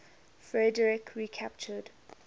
frederik recaptured